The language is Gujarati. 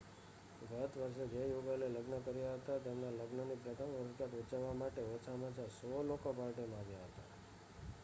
ગત વર્ષે જે યુગલે લગ્ન કર્યા હતા તેમના લગ્નની પ્રથમ વર્ષગાંઠ ઉજવવા માટે ઓછામાં ઓછા 100 લોકો પાર્ટીમાં આવ્યા હતા